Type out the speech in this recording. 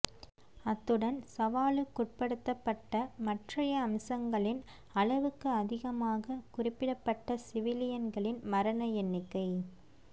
அத்துடன் சவாலுக்குட்படுத்தப்பட்ட மற்றைய அம்சங்களின் அளவுக்கு அதிகமாக குறிப்பிடப்பட்ட சிவிலியன்களின் மரண எண்ணிக்கை